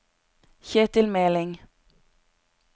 Ketil Meling